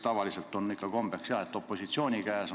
Tavaliselt on ikka kombeks, et see koht on opositsiooni käes.